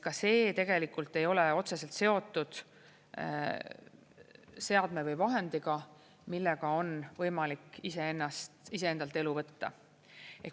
Ka see tegelikult ei ole otseselt seotud seadme või vahendiga, millega on võimalik iseennast iseendalt elu võtta.